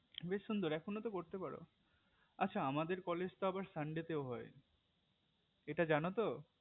বেশ সুন্দর এখনোতো করতে পারো আচ্ছা আমাদের college তো আবার sunday তে হয় ইটা জানোতো